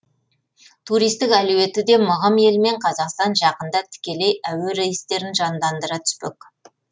туристік әлеуеті де мығым елмен қазақстан жақында тікелей әуе рейстерін жандандыра түспек